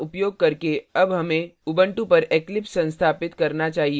दिखाये गए commands का उपयोग करके अब हमे उबंटू पर eclipse संस्थापित करना चाहिए